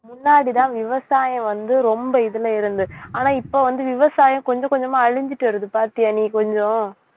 முன்னாடிதான் விவசாயம் வந்து ரொம்ப இதுல இருந்து~ ஆனா இப்ப வந்து விவசாயம் கொஞ்சம் கொஞ்சமா அழிஞ்சுட்டு வருது பார்த்தியா நீ கொஞ்சம்